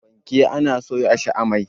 fanke ana soya shi a mai